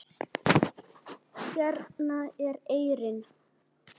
Hérna er eyrin.